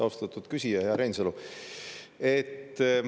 Austatud küsija, hea Reinsalu!